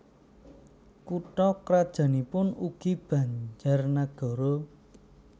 Kutha krajannipun ugi Banjarnagara